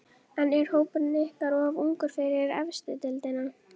En er hópurinn ykkar of ungur fyrir efstu deildina?